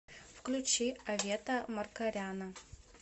включи авета маркаряна